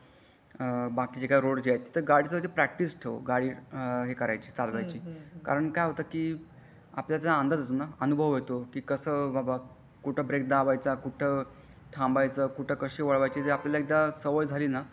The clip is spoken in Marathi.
बाकीचे जे रोड आहे तिथे प्रॅक्टिस ठेव गाडी चालवायची कारण काय होतं की आपल्या अंदाज येतो अनुभव येतो कि कसा बाबा कुठं ब्रेक दाबायचा कुठं थांबायचं म्हणजे आपल्याला एकदा सवय झाली ना.